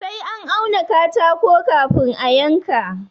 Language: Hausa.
Sai an auna katako kafin a yanka.